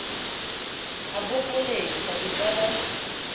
a bopolesa e ka ba